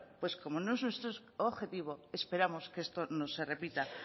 pues como no es nuestro objetivo esperamos que esto no se repita